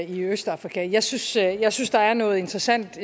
i østafrika jeg synes jeg synes der er noget interessant